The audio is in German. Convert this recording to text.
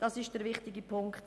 Dies ist der wichtige Punkt.